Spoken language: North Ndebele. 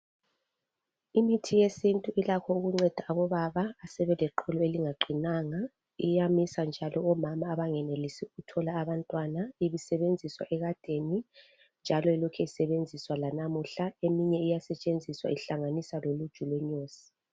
Imithi yesintu ilakho ukunceda obaba abasebeleqolo elingaqinanga. Iyamisa njalo omama abangenelisi ukuthola abantwana. Ibisebenziswa ekadeni njalo ilokhe isebenziswa lanamuhla eminye iyasetshenziswa inhlanganiswa loluju lwenyosi.